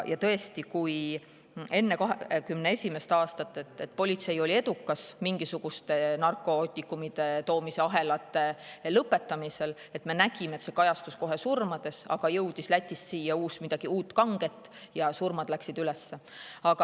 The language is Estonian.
Tõesti, enne 2021. aastat politsei oli mingisuguste narkootikumide toomise ahelate lõpetamisel edukas ja me nägime, et see kajastus kohe surmades, aga kui Lätist jõudis siia midagi uut ja kanget, läks surmade arv üles.